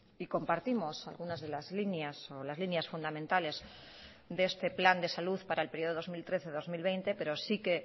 y compartimos algunas de las líneas o las líneas fundamentales de este plan de salud para el periodo dos mil trece dos mil veinte pero sí que